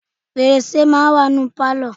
Fèrèsé máa ń wà ní Pálọ̀.